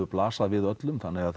blasað við öllum þannig að